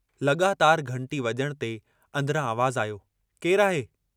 लगातार घंटी वजण ते अन्दरां आवाज़ आयो केरु आहे?